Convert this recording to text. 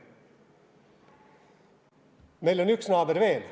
Meil on üks naaber veel.